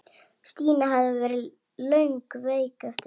Stína hafði verið lengi veik eftir það.